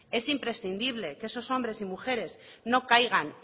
es imprescindible que esos hombres y mujeres no caigan